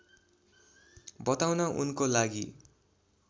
बताउन उनको लागि